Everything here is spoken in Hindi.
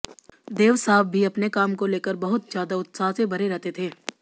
देव साहब भी अपने काम को लेकर बहुत ज्यादा उत्साह से भरे रहते थे